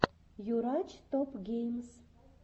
юрач топ геймс